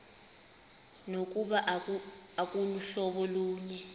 nokuba aluhlobo lunye